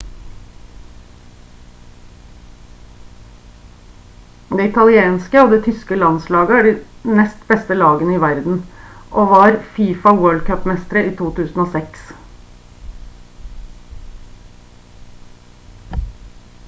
det italienske og det tyske landslaget er de nest beste lagene i verden og var fifa world cup-mestere i 2006